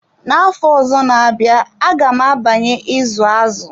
Na afọ ọzọ na-abịa aga m abanye izu azụ.